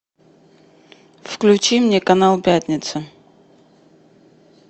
включи мне канал пятница